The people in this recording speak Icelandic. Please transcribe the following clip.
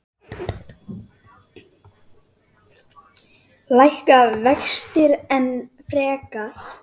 Lækka vextir enn frekar?